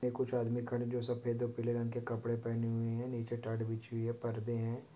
ये कुछ आदमी खड़े-- जो सफ़ेद और पीले कपडे पहने हुए है नीचे बिछी हुई है परदे है।